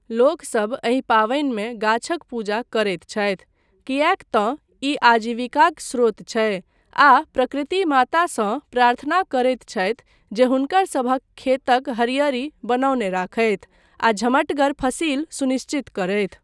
लोकसभ एहि पावनिमे गाछक पूजा करैत छथि, किएक तँ ई आजीविकाक स्रोत छै, आ प्रकृति मातासँ प्रार्थना करैत छथि जे हुनकरसभक खेतक हरिअरी बनौने राखथि आ झमटगर फसिल सुनिश्चित करथि।